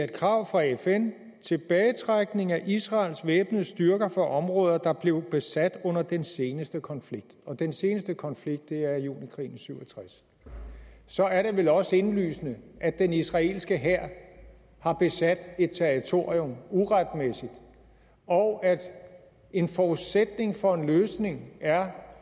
kravet fra fn er tilbagetrækning af israels væbnede styrker fra områder der blev besat under den seneste konflikt den seneste konflikt er junikrigen i nitten syv og tres så er det vel også indlysende at den israelske hær har besat et territorium uretmæssigt og at en forudsætning for løsningen er